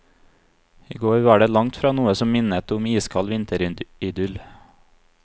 I går var det langt fra noe som minnet om iskald vinteridyll.